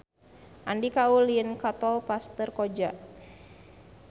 Andika ulin ka Tol Pasir Koja